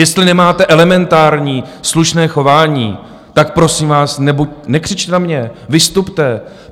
Jestli nemáte elementární slušné chování, tak prosím vás, nekřičte na mě, vystupte.